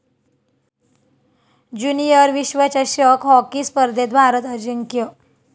junior विश्वचषक hockey स्पर्धेत भारत अजिंक्य